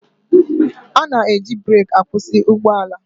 A na-eji breki akwụsị ụgbọala.